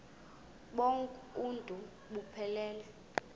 bonk uuntu buphelele